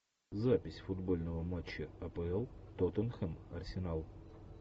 запись футбольного матча апл тоттенхэм арсенал